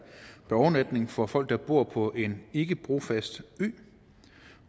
overnatning for folk der bor på en ikkebrofast ø